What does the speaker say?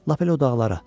Lap elə o dağlara.